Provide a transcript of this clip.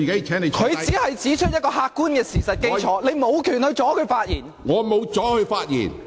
黃碧雲議員只是指出一個客觀事實，你無權阻止她發言。